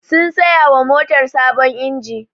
Sun saya wa motar sabon inji